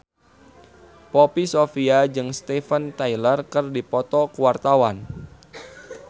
Poppy Sovia jeung Steven Tyler keur dipoto ku wartawan